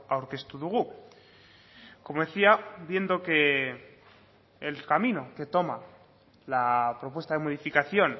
aurkeztu dugu como decía viendo que el camino que toma la propuesta de modificación